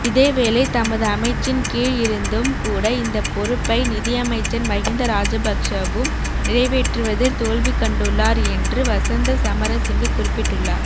இதேவேளை தமது அமைச்சின்கீழ் இருந்தும் கூட இந்தப்பொறுப்பை நிதியமைச்சர் மஹிந்த ராஜபக்சவும் நிறைவேற்றுவதில் தோல்விக்கண்டுள்ளார் என்று வசந்த சமரசிங்க குறிப்பிட்டுள்ளார்